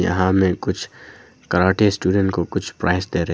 यहां में कुछ कराटे स्टूडेंट को कुछ प्राइज दे रहे।